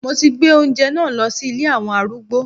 Mo ti gbé oúnjẹ náà lọ sí ilé àwọn arúgbó.